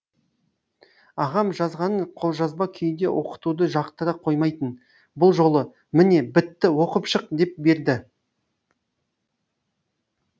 ағам жазғанын қолжазба күйінде оқытуды жақтыра қоймайтын бұл жолы міне бітті оқып шық деп берді